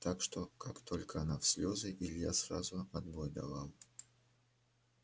так что как только она в слезы илья сразу отбой давал